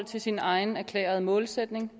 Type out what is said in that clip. til sin egen erklærede målsætning